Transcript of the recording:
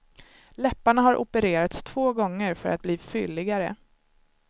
Läpparna har opererats två gånger för att bli fylligare.